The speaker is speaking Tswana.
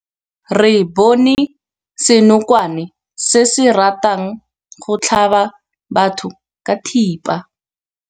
Re bone senokwane se se ratang go tlhaba batho ka thipa.